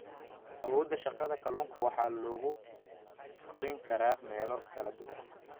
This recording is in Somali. Awoodda Shaqada Kalluunka waxaa lagu korin karaa meelo kala duwan.